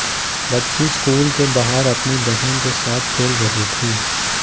बच्ची स्कूल के बाहर अपनी बहन के साथ खेल रही थी